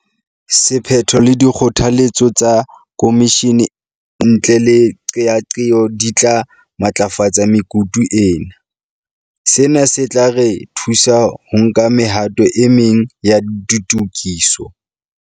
Sephetho le dikgotha letso tsa khomishene ntle le qeaqeo di tla matlafatsa mekutu ena. Sena se tla re thusa ho nka mehato e meng ya ditokiso.